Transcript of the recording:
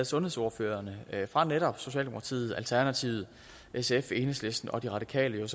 sundhedsordførerne fra netop socialdemokratiet alternativet sf enhedslisten og de radikale her